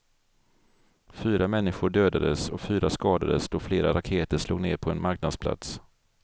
Fyra människor dödades och fyra skadades då flera raketer slog ner på en marknadsplats.